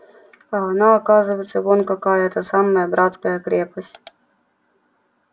а она оказывается вон какая эта самая братская крепость